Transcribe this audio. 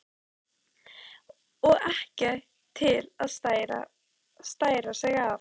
Og ekki til að stæra sig af!